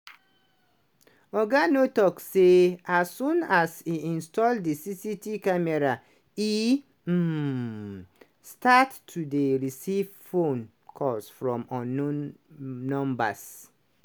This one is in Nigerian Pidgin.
oga nuur talk say as soon as im install the cct camera, e um start to dey receive phone calls from unknown numbers